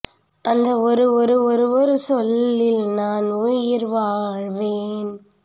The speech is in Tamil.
அந்த ஒரு ஒரு ஒரு ஒரு சொல்லில் நான் உயிர் வாழ்வேன்